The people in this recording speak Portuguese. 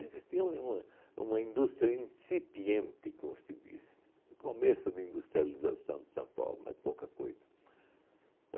Existia u uma uma indústria incipiente, como se diz, no começo da industrialização de São Paulo, mas pouca coisa.